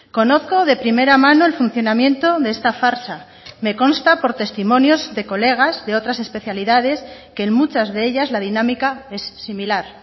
conozco de primera mano el funcionamiento de esta farsa me consta por testimonios de colegas de otras especialidades que en muchas de ellas la dinámica es similar